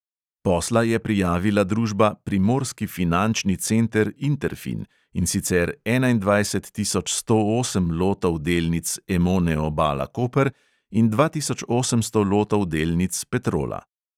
Posla je prijavila družba primorski finančni center interfin, in sicer enaindvajset tisoč sto osem lotov delnic emone obala koper in dva tisoč osemsto lotov delnic petrola.